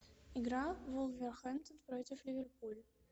игра вулверхэмптон против ливерпуля